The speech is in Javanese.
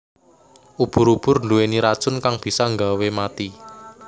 Ubur ubur nduweni racun kang bisa nggawe mati